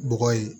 Bɔgɔ ye